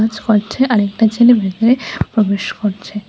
আরেকটা ছেলে ভিতরে প্রবেশ করছে।